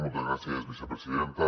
moltes gràcies vicepresidenta